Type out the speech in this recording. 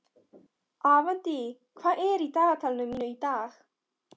Avantí, hvað er í dagatalinu mínu í dag?